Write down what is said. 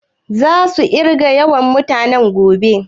Za su ƙirga yawan mutuwan gobe?